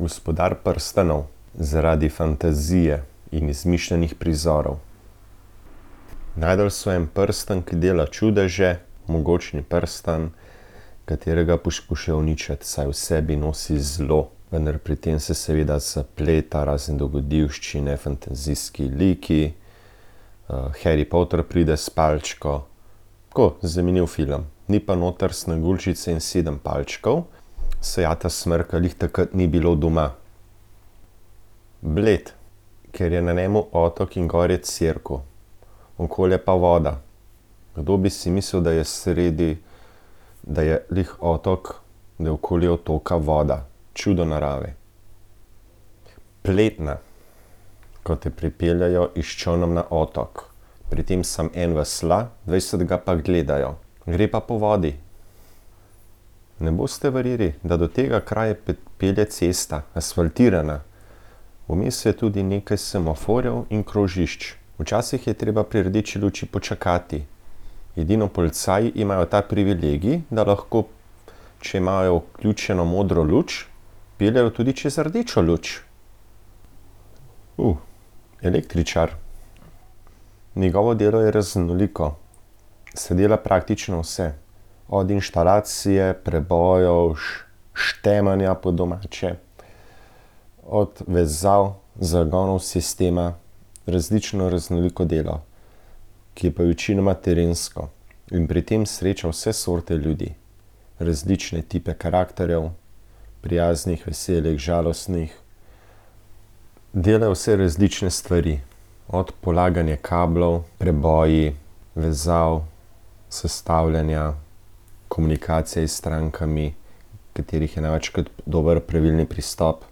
Gospodar prstanov. Zaradi fantazije in izmišljenih prizorov. Našli so en prstan, ki dela čudeže, mogočni prstan, katerega poskušajo uničiti, saj v sebi nosi zlo, vendar pri tem se seveda zapleta, razne dogodivščine, fantazijski liki. Harry Potter pride s palčko, tako zanimiv film. Ni pa noter Sneguljčice in sedem palčkov, saj Ata Smrka glih takrat ni bilo doma. Bled. Ker je na njem otok in gor je cerkev. Okoli je pa voda. Kdo bi si mislil, da je sredi, da je glih otok, da je okoli otoka voda. Čudo narave. Pletna. Ko te pripeljejo s čolnom na otok. Pri tem samo en vesla, dvajset ga pa gledajo. Gre pa po vodi. Ne boste verjeli, da do tega kraja pelje cesta. Asfaltirana. Vmes je tudi nekaj semaforjev in krožišč. Včasih je treba pri rdeči luči počakati. Edino policaji imajo ta privilegij, da lahko, če imajo vključeno modro luč, peljejo tudi čez rdečo luč. električar. Njegovo delo je raznoliko. Saj dela praktično vse. Od inštalacije, prebojev štemanja po domače. Od vezav, zagonov sistema, različno, raznoliko delo, ki je pa večinoma terensko, in pri tem sreča vse sorte ljudi. Različne tipe karakterjev. Prijaznih, veselih, žalostnih. Dela vse različne stvari, od polaganja kablov, preboji, vezav, sestavljanja, komunikacija s strankami, katerih je največkrat dobro pravilni pristop.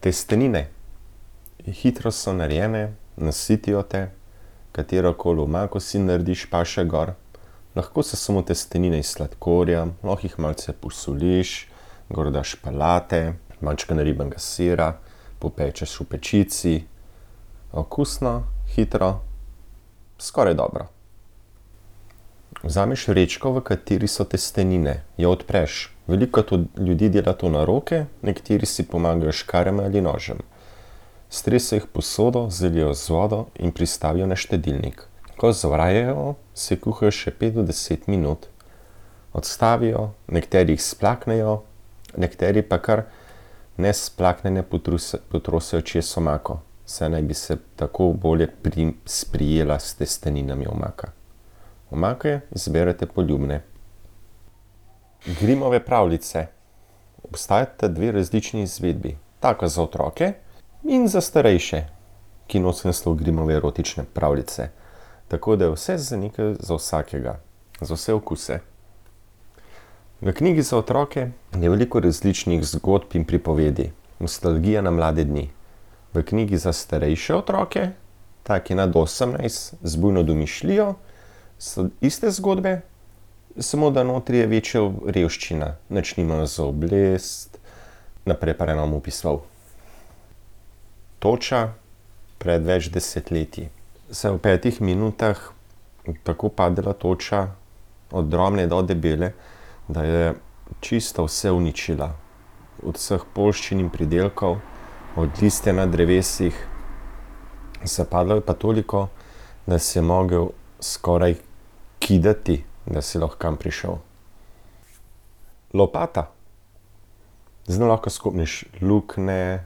Testenine. Hitro so narejene, nasitijo te. Katerokoli omako si narediš, paše gor. Lahko so samo testenine s sladkorjem, lahko jih malce posoliš. Gor daš pelate, majčkeno naribanega sira, popečeš v pečici. Okusno, hitro, skoraj dobro. Vzameš vrečko, v kateri so testenine. Jo odpreš, veliko ljudi dela to na roke, nekateri si pomagajo s škarjami ali nožem. Strese jih v posodo, zalijejo z vodo in pristavijo na štedilnik. Ko zavrejo, se kuhajo še pet do deset minut. Odstavijo, nekateri jih splaknejo, nekateri pa kar nesplaknjene potrosijo čez omako. Saj naj bi se tako bolje sprijela s testeninami omaka. Omake izberete poljubne. Grimmove pravljice. Obstajata dve različni izvedbi. Take za otroke in za starejše, ki nosijo naslov Grimmove erotične pravljice. Tako da je vse za nekaj, za vsakega. Za vse okuse. V knjigi za otroke je veliko različnih zgodb in pripovedi. Nostalgija na mlade dni. V knjigi za starejše otroke, take nad osemnajst z bujno domišljijo, so iste zgodbe, samo da notri je večja revščina, nič nimajo za obleči, naprej pa raje ne bom opisoval. Toča, pred več desetletji. Saj v petih minutah je tako padala toča, od drobne do debele, da je čisto vse uničila. Od vsh poljščin in pridelkov, od listja na drevesih. Zapadlo je pa toliko, da si jo mogel skoraj kidati, da si lahko kam prišel. Lopata. Z njo lahko skoplješ luknje,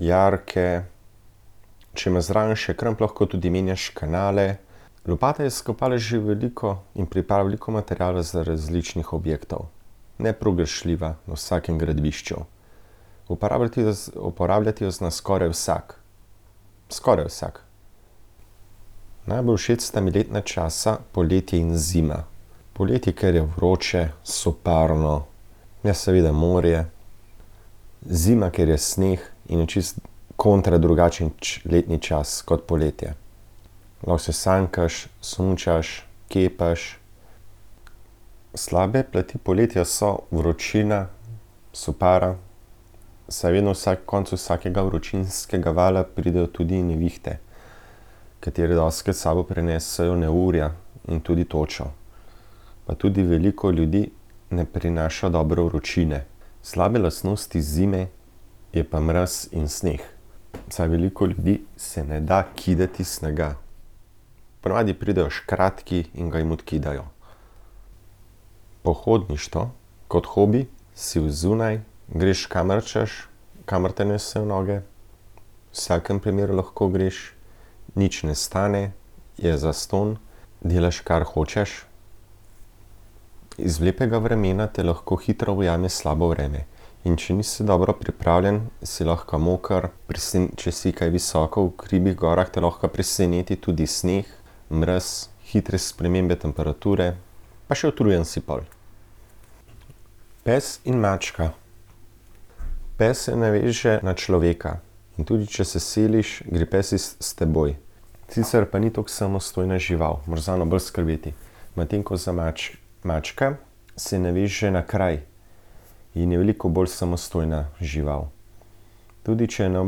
jarke, če imaš zraven še kramp, lahko tudi menjaš kanale. Lopata je skopala že veliko in pripravila veliko materiala za različne objekte. Nepogrešljiva na vsakem gradbišču. uporabljati jo zna skoraj vsak. Skoraj vsak. Najbolj všeč sta mi letna časa poletje in zima. Poletje, ker je vroče, soparno, ne, seveda morje. Zima, ker je sneg in je čisto kontra drugačen letni čas kot poletje. Lahko se sankaš, smučaš, kepaš. Slabe plati poletja so vročina, sopara, saj vedno vsak konec vsakega vročinskega vala pridejo tudi nevihte, katere dostikrat s sabo prinesejo neurja in tudi točo. Pa tudi veliko ljudi ne prenaša dobro vročine. Slabe lastnosti zime je pa mraz in sneg. Saj veliko ljudem se ne da kidati snega. Po navadi pridejo škratki in ga jim odkidajo. Pohodništvo kot hobi si odzunaj, greš, kamor hočeš, kamor te nesejo noge. V vsakem primeru lahko greš, nič ne stane, je zastonj, delaš, kar hočeš. Iz lepega vremena te lahko hitro ujame slabo vreme. In če nisi dobro pripravljen, si lahko moker, če si kaj visoko v hribih, gorah, te lahko preseneti tudi sneg, mraz, hitre spremembe temperature. Pa še utrujen si pol. Pes in mačka. Pes se naveže na človeka, in tudi če se seliš, gre pes iz, s teboj. Sicer pa ni toliko samostojna žival, moraš zanjo bolj skrbeti. Medtem ko za mačka se naveže na kraj. In je veliko bolj samostojna žival. Tudi če je ne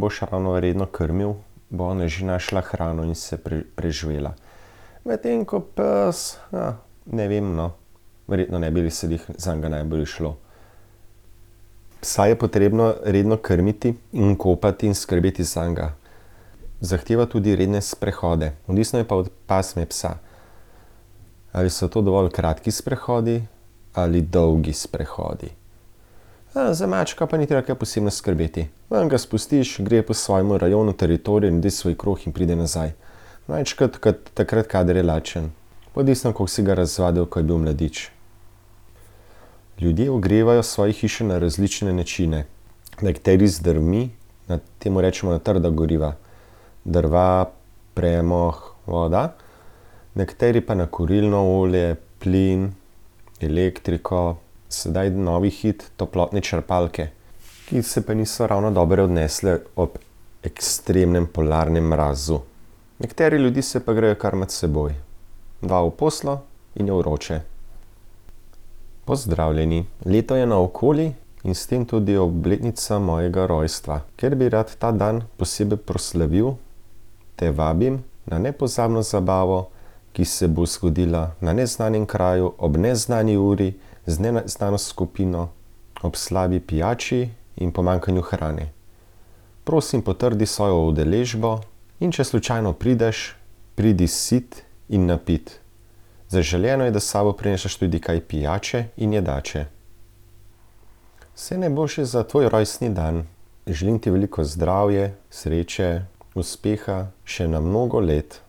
boš ravno redno krmil, bo ona že našla hrano in se preživela. Medtem ko pes, ne vem, no. Verjetno ne bi se glih zanj najbolje izšlo. Psa je potrebno redno krmiti in kopati in skrbeti zanj. Zahteva tudi redne sprehode, odvisno je pa od pasme psa. Ali so to dovolj kratki sprehodi ali dolgi sprehodi. za mačka pa ni treba kaj posebno skrbeti. Ven ga spustiš, gre po svojem rajonu, teritoriju, naredi svoj krog in pride nazaj. Največkrat kot, takrat, kadar je lačen. Pa odvisno, koliko si ga razvadil, ko je bil mladič. Ljudje ogrevajo svoje hiše na različne načine. Nekateri z drvmi, na, temu rečemo na trda goriva. Drva, premog, voda. Nekateri pa na kurilno olje, plin, elektriko, sedaj novi hit toplotne črpalke. Ki se pa niso ravno dobro obnesle ob ekstremnem polarnem mrazu. Nekateri ljudje se pa grejejo kar med seboj. Dva v posteljo in je vroče. Pozdravljeni, leto je naokoli in s tem tudi obletnica mojega rojstva. Ker bi rad ta dan posebej proslavil, te vabim na nepozabno zabavo, ki se bo zgodila na neznanem kraju ob neznani uri z neznano skupino ob slabi pijači in pomanjkanju hrane. Prosim, potrdi svojo udeležbo, in če slučajno prideš, pridi sit in napit. Zaželeno je, da s sabo prineseš tudi kaj pijače in jedače. Vse najboljše za tvoj rojstni dan. Želim ti veliko zdravje, sreče, uspeha še na mnogo let.